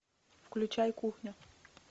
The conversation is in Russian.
включай кухня